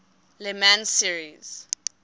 le mans series